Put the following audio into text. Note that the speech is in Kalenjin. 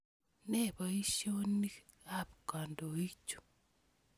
Ne poisyonik ap kandoik chu?